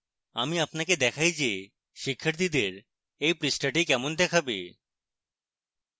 আমি আপনাকে দেখায় যে শিক্ষার্থীদের এই পৃষ্ঠাটি কেমন দেখাবে